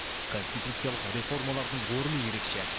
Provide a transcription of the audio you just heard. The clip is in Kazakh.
конституциялық реформалардың орны ерекше